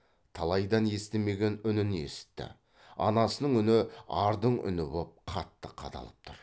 талайдан естімеген үнін есітті анасының үні ардың үні боп қатты қадалып тұр